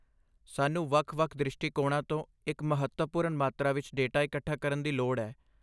ਸਾਨੂੰ ਵੱਖ ਵੱਖ ਦ੍ਰਿਸ਼ਟੀਕੋਣਾਂ ਤੋਂ ਇੱਕ ਮਹੱਤਵਪੂਰਨ ਮਾਤਰਾ ਵਿੱਚ ਡੇਟਾ ਇਕੱਠਾ ਕਰਨ ਦੀ ਲੋੜ ਹੈ